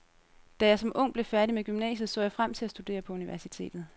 Da jeg som ung blev færdig med gymnasiet, så jeg frem til at studere på universitetet.